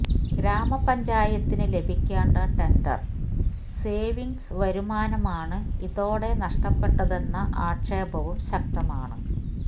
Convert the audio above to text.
ഗാമപഞ്ചായത്തിന് ലഭിക്കേണ്ട tender saving വരുമാനമാണ് ഇതോടെ നഷ്ടപ്പെട്ടതെന്ന ആക്ഷേപവും ശക്തമാണ്